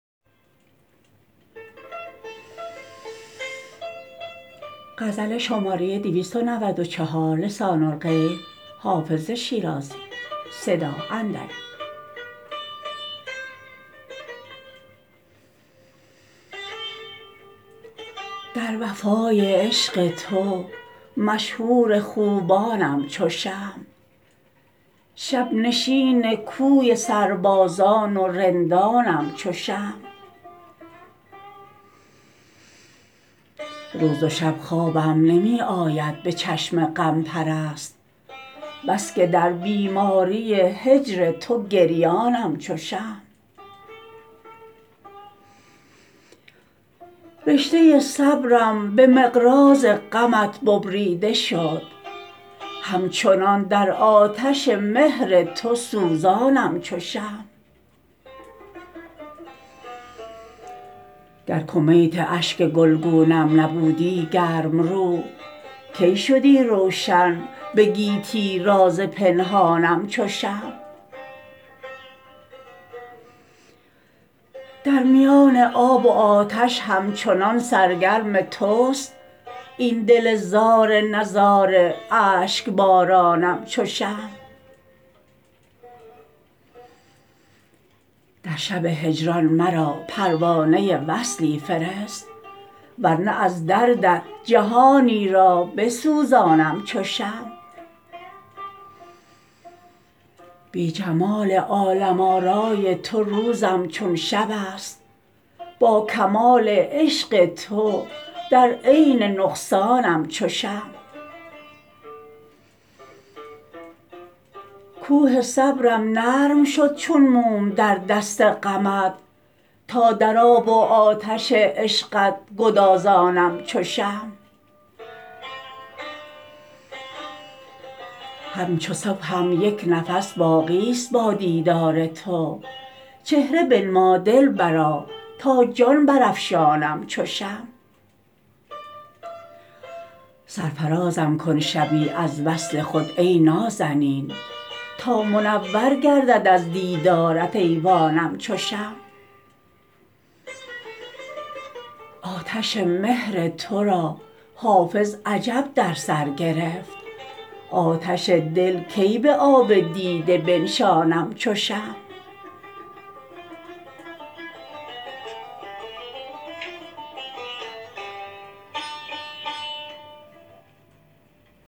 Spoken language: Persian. در وفای عشق تو مشهور خوبانم چو شمع شب نشین کوی سربازان و رندانم چو شمع روز و شب خوابم نمی آید به چشم غم پرست بس که در بیماری هجر تو گریانم چو شمع رشته صبرم به مقراض غمت ببریده شد همچنان در آتش مهر تو سوزانم چو شمع گر کمیت اشک گلگونم نبودی گرم رو کی شدی روشن به گیتی راز پنهانم چو شمع در میان آب و آتش همچنان سرگرم توست این دل زار نزار اشک بارانم چو شمع در شب هجران مرا پروانه وصلی فرست ور نه از دردت جهانی را بسوزانم چو شمع بی جمال عالم آرای تو روزم چون شب است با کمال عشق تو در عین نقصانم چو شمع کوه صبرم نرم شد چون موم در دست غمت تا در آب و آتش عشقت گدازانم چو شمع همچو صبحم یک نفس باقی ست با دیدار تو چهره بنما دلبرا تا جان برافشانم چو شمع سرفرازم کن شبی از وصل خود ای نازنین تا منور گردد از دیدارت ایوانم چو شمع آتش مهر تو را حافظ عجب در سر گرفت آتش دل کی به آب دیده بنشانم چو شمع